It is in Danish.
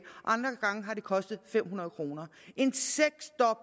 og det kostet fem hundrede kroner